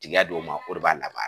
Tigiya d'o ma o de b'a laban.